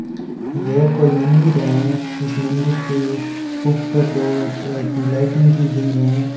ये कोई मंदिर है इस मंदिर के ऊपर दो तरह की लाइटिंग की गयी है।